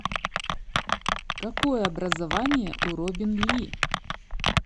какое образование у робин ли